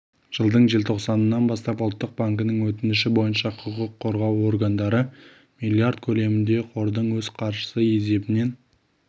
жылдың желтоқсанынан бастап ұлттық банкінің өтініші бойынша құқық қорғау органдары миллиард көлемінде қордың өз қаржысы есебінен